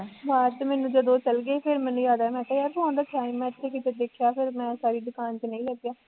ਹਾਂ ਤੇ ਮੈਨੂੰ ਜਦੋਂ ਉਹ ਚਲਗੇ ਫੇਰ ਮੈਨੂੰ ਯਾਦ ਆਇਆ ਮੈਂ ਕਿਹਾਂ ਯਾਰ phone ਰੱਖਿਆ ਸੀ ਮੈਂ ਇੱਥੇ ਕਿਤੇ, ਵੇਖਿਆ ਫਿਰ ਮੈਂ ਸਾਰੀ ਦੁਕਾਨ ਚ ਨਹੀਂ ਲੱਭਿਆ